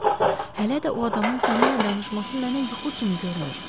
Hələ də o adamın səninlə danışması mənə yuxu kimi görünür.